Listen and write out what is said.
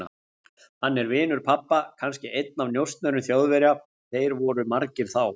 Hann er vinur pabba, kannski einn af njósnurum Þjóðverja, þeir voru margir þá.